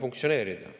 funktsioneerida.